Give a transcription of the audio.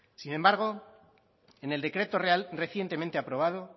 sin embargo en el decreto real recientemente aprobado